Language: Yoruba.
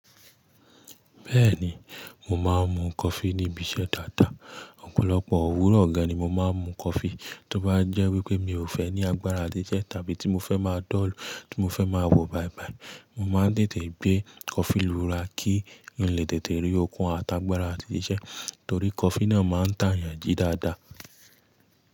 Bẹ́ẹ̀ni, mo máa ń mu coffee níbi iṣẹ́ dáadáa. Ọ̀pọ̀lọpọ̀ òwúrọ̀ gán ni mo máa ń mu coffee. Tí ó bá jẹ́ wípé mi ò fẹ́ ní agbára a ti siṣẹ́ tàbí tí mo fẹ́ máa dọ́ọ̀lu tí mo fẹ́ máa wò báibái, mo máa ń tètè gbé coffee lura kí n lè tètè rí okun àtàgbàrá àti síṣẹ́ torí coffee náà máa ń tàn yan ji dáadáa.